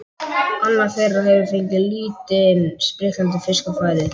Annar þeirra hefur fengið lítinn, spriklandi fisk á færið.